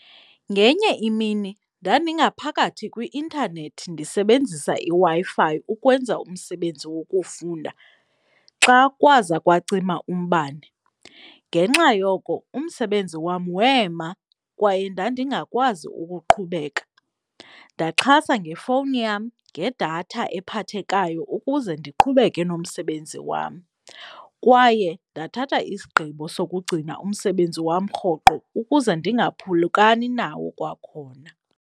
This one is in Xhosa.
Ngenye imini ndandingaphakathi kwi-intanethi ndisebenzisa iWi-Fi ukwenza umsebenzi wokufunda xa kwaza kwacima umbane. Ngenxa yoko umsebenzi wam wema kwaye ndandingakwazi ukuqhubeka. Ndaxhasa ngefowuni yam, ngedatha ephathekayo ukuze ndiqhubeke nomsebenzi wam kwaye ndathatha isigqibo sokugcina umsebenzi wam rhoqo ukuze ndingaphulukani nawo kwakhona.